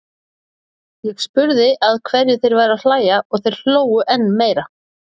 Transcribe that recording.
Ég spurði að hverju þeir væru að hlæja og þeir hlógu enn meir.